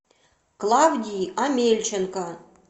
клавдии омельченко